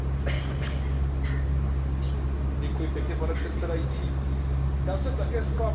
Pane předsedající, já jsem také zklamán z kompromisu, který byl uzavřen na trialogu.